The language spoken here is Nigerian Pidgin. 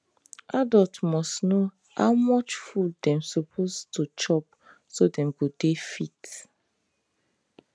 adult must know how much food dem suppose to chop so dem go dey fit